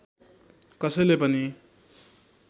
कसैले पनि